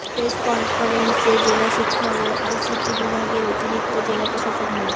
press কফারেন্সে জেলা শিক্ষা ও আইসিটি বিভাগের অতিরিক্ত জেলা প্রশাসক মো